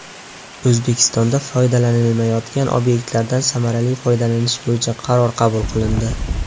O‘zbekistonda foydalanilmayotgan obyektlardan samarali foydalanish bo‘yicha qaror qabul qilindi.